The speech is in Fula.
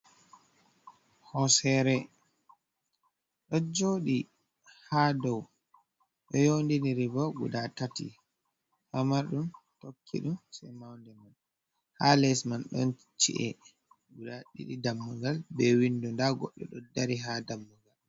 Hosere ɗo joɗi ha dau ɗo yodidiri bo guda tati, pamarɗum, tokki ɗum, se maunde man, haa les man ɗon chi’e guda ɗiɗi, dam mugal be windu nda goɗɗo ɗo dari ha dam mugal.